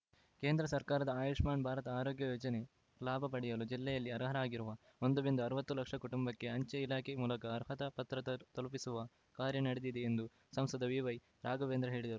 ಕೇಂದ್ರ ಸರ್ಕಾರದ ಆಯುಷ್ಮಾನ್‌ ಭಾರತ್‌ ಆರೋಗ್ಯ ಯೋಜನೆ ಲಾಭ ಪಡೆಯಲು ಜಿಲ್ಲೆಯಲ್ಲಿ ಅರ್ಹರಾಗಿರುವ ಒಂದ ರಿಂದ ಅರವತ್ತು ಲಕ್ಷ ಕುಟುಂಬಕ್ಕೆ ಅಂಚೆ ಇಲಾಖೆ ಮೂಲಕ ಅರ್ಹತಾ ಪತ್ರ ತಲುಪಿಸುವ ಕಾರ್ಯ ನಡೆದಿದೆ ಎಂದು ಸಂಸದ ಬಿವೈ ರಾಘವೇಂದ್ರ ಹೇಳಿದರು